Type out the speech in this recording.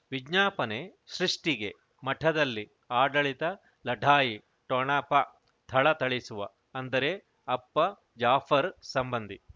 ವಿಜ್ಞಾಪನೆ ಸೃಷ್ಟಿಗೆ ಮಠದಲ್ಲಿ ಆಡಳಿತ ಲಢಾಯಿ ಠೊಣಪ ಥಳಥಳಿಸುವ ಅಂದರೆ ಅಪ್ಪ ಜಾಫರ್ ಸಂಬಂಧಿ